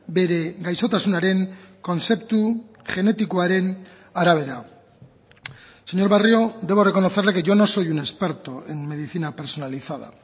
bere gaixotasunaren kontzeptu genetikoaren arabera señor barrio debo reconocerle que yo no soy un experto en medicina personalizada